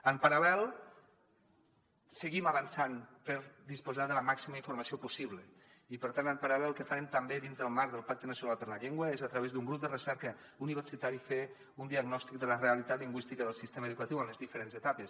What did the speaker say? en paral·lel seguim avançant per disposar de la màxima informació possible i per tant en paral·lel el que farem també dins del marc del pacte nacional per la llengua és a través d’un grup de recerca universitari fer un diagnòstic de la realitat lingüística del sistema educatiu en les diferents etapes